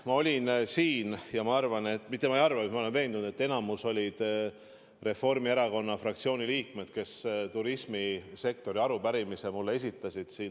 Ma olin siin vastamas ja ma arvan või õigemini ei arva, vaid olen veendunud, et enamikus olid need Reformierakonna fraktsiooni liikmed, kes mulle esmaspäeval turismisektori kohta arupärimise esitasid.